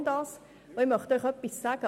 Aber ich möchte Ihnen etwas sagen.